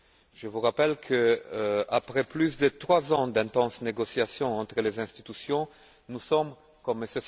Je vous rappelle qu'après plus de trois ans d'intenses négociations entre les institutions, nous sommes comme M.